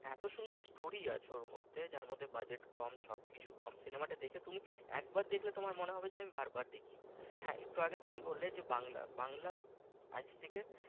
এত সুন্দর story আছে ওর মধ্যে যার মধ্যে budget কম সব কিছুই কম cinema টা দেখে তুমি একবার দেখে তুমি একবার দেখলে তোমার মনে হবে যে আমি বারবার দেখি হ্যাঁ একটু আগে তুমি বললে যে বাংলা বাংলা আজ থেকে